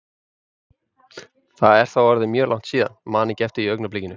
Það er þá orðið mjög langt síðan, man ekki eftir því í augnablikinu.